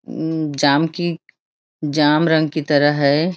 उम्म जाम की जाम रंग की तरह हैं।